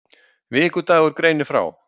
Vikudagur greinir frá